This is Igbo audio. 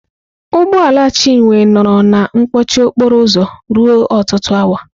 Ụgbọ ala Chinwe nọrọ na mkpọchị okporo ụzọ ruo ọtụtụ awa.